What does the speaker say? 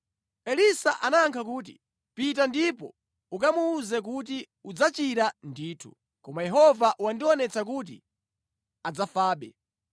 Elisa anayankha kuti, “Pita ndipo ukamuwuze kuti, ‘Udzachira ndithu,’ koma Yehova wandionetsa kuti adzafabe.”